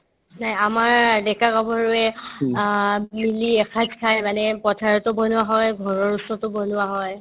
নে আমাৰ ডেকা-গাভৰুয়ে অ মিলি এসাজ খাই মানে পথাৰতো বনোৱা হয় ঘৰৰ ওচৰতো বনোৱা হয়